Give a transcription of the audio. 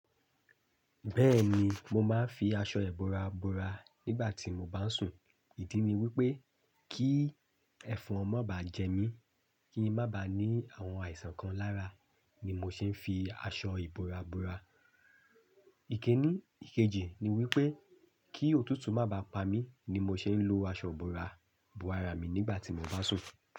Bẹ́ẹ̀ni, mo máa ń fi aṣọ ìbora bora nígbà tí mo bá ń sùn. Ìdí ni wípé kí ẹ̀fọn má bá jẹ mí, kí ń má bá ní àwọn àìsàn kan lára ni mo ṣe ń fi aṣọ ìbora bora. Ìkíni ìkejì ni wípé kí òtútù má bá pa mí ni mo ṣe ń lo aṣọ ìbora bora mi nígbà tí mo bá ń sùn.